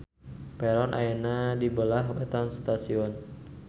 Peron ayana di beulah wetan stasion.